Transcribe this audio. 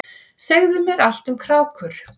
Segðu mér allt um krákur.